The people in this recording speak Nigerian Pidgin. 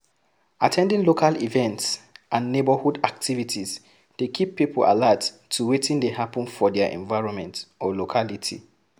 At ten ding local events and neigbourhood activities dey keep pipo alert to wetin dey happen for their environment or locality.